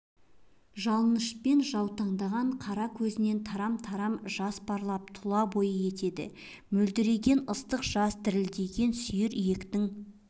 жалынышпен жаутаңдаған қара көзінен тарам-тарам жас парлап тұлабойы етеді мөлдіреген ыстық жас дірілдеген сүйір иектің